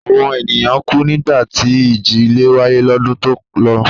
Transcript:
Àwọn ènìyàn kù nígbà tí ìjì-ilẹ̀ wáyé lọ́dún tó lọ.